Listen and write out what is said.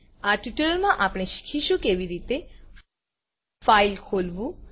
આ ટ્યુટોરીયલમાં આપણે શીખીશું કેવી રીતે ફાઈલ ખોલવું